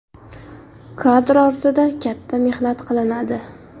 Kadr ortida katta mehnat qilinadi.